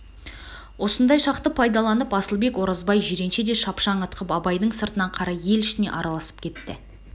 осындай шақты пайдаланып асылбек оразбай жиренше де шапшаң ытқып абайдың сыртына қарай ел ішіне араласып кетті